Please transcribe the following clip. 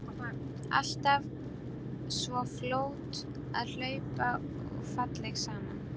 Alltaf svo fljót að hlaupa og falleg saman.